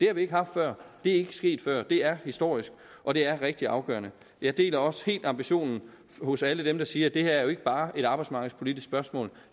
har vi ikke haft før det er ikke sket før det er historisk og det er rigtig afgørende jeg deler også helt ambitionen hos alle dem der siger at det her jo ikke bare er et arbejdsmarkedspolitisk spørgsmål